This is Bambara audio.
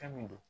Fɛn min do